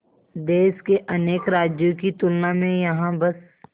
देश के अनेक राज्यों की तुलना में यहाँ बस